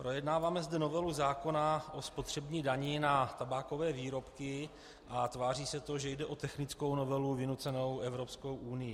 Projednáváme zde novelu zákona o spotřební dani na tabákové výrobky a tváří se to, že jde o technickou novelu vynucenou Evropskou unií.